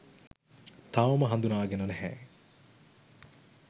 තවම හඳුනාගෙන නැහැ.